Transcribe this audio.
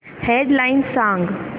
head lines सांग